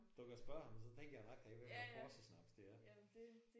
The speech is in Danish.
Du kan spørge ham så tænker jeg nok han ikke ved hvad porsesnaps det er